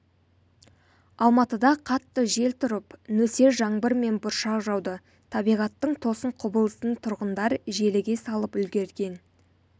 алматыда қатты жел тұрып нөсер жаңбыр мен бұршақ жауды табиғаттың тосын құбылысын тұрғындар желіге салып үлгерген